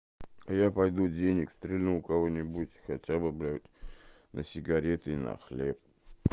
я пойду денег стрельну у кого-нибудь хотя бы блядь на сигареты и на хлеб